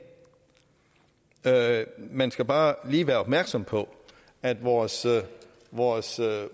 man skal bare lige være opmærksom på at vores vores